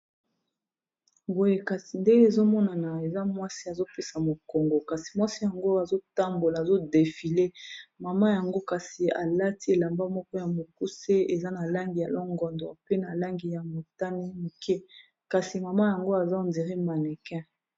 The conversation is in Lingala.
boye kasi nde ezomonana eza mwasi azopesa mokongo kasi mwasi yango azotambola azodefile mama yango kasi alati elamba moko ya mokuse eza na langi ya longondor pe na langi ya motane moke kasi mama yango aza ondere manekin